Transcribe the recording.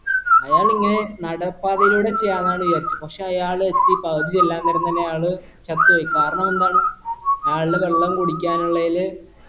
അയാൾ ഇങ്ങനെ നടപ്പാതയിലൂടെ ചെയ്യാന്നാണ് വിചാരിച്ചെ പക്ഷെ അയാൾ എത്തി പകുതി ചെല്ലാം നേരം തന്നെ അയാൾ ചത്തു പോയി കാരണമെന്താണ് അയാൾടെ വെള്ളം കുടിക്കാനുളളയില്